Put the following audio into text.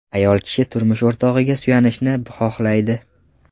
Ayol kishi turmush o‘rtog‘iga suyanishni xohlaydi.